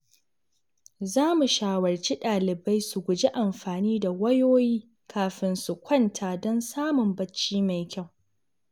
Za mu shawarci dalibai su guji amfani da wayoyi kafin su kwanta don samun bacci mai kyau.